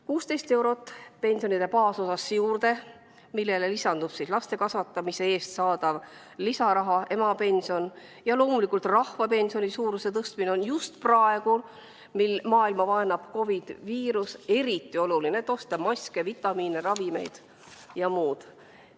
Pensioni baasosasse juurde pandud 16 eurot, millele lisandub laste kasvatamise eest saadav lisaraha, emapension, ja loomulikult rahvapensioni suuruse tõstmine on just praegu, mil maailma vaenab COVID ja koroonaviirus, eriti oluline, et osta maske, vitamiine, ravimeid ja muud.